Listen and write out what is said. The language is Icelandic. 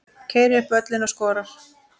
Keyrir upp völlinn og skorar.